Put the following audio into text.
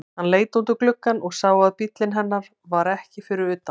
Hann leit út um gluggann og sá að bíllinn hennar var ekki fyrir utan.